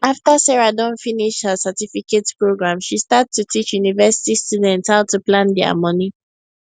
after sarah don finish her certificate program she start to teach university students how to plan their money